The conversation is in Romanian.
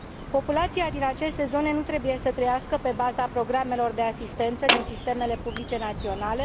Populația din aceste zone nu trebuie să trăiască pe baza programelor de asistență din sistemele publice naționale.